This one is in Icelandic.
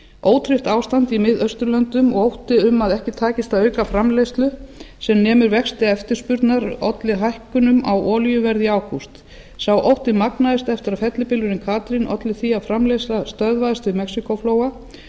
ótryggt ástand í mið austurlöndum og ótti um að ekki takist að auka framleiðslu sem nemur vexti eftirspurnar olli hækkunum á olíuverði í ágúst sá ótti magnaðist eftir að fellibylurinn katrín olli því að framleiðsla stöðvaðist við mexíkóflóa